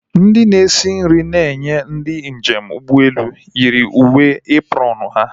Ndị na-esi nri a na-enye ndị njem ụgbọelu yi uwe eprọọnu ha